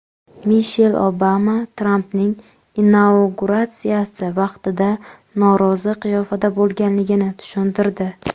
Mishel Obama Trampning inauguratsiyasi vaqtida norozi qiyofada bo‘lganligini tushuntirdi.